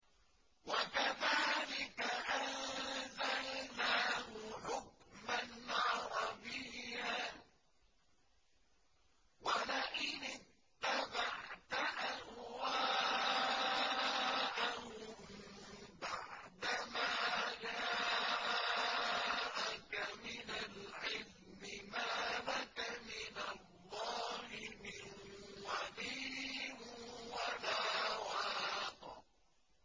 وَكَذَٰلِكَ أَنزَلْنَاهُ حُكْمًا عَرَبِيًّا ۚ وَلَئِنِ اتَّبَعْتَ أَهْوَاءَهُم بَعْدَمَا جَاءَكَ مِنَ الْعِلْمِ مَا لَكَ مِنَ اللَّهِ مِن وَلِيٍّ وَلَا وَاقٍ